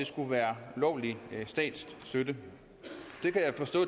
skulle være ulovlig statsstøtte